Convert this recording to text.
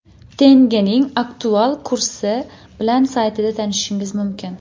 Tengening aktual kursi bilan saytida tanishishingiz mumkin.